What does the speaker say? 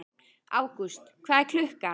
Ágúst, hvað er klukkan?